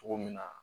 Cogo min na